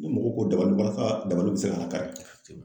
mɔgɔw ko dabali b'ala , dabali bɛ se ka lakari.